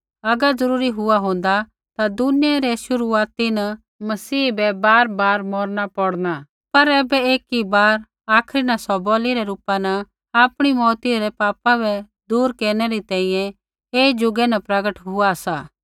अगर जरूरी हुआ होंदा ता दुनिया रै शुरूआती न मसीह बै बारबार मौरना पौड़ना लेकिन ऐबै एकी बार आखरी न सौ बलि रै रूपा न आपणी मौऊती न पापा बै दूर केरनै री तैंईंयैं ऐई ज़ुगै न प्रगट हुआ सा